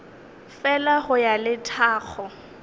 fela go ya le tlhago